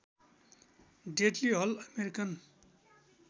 deadly hull American